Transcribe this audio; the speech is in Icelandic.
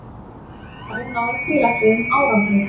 Svarið náði tilætluðum árangri.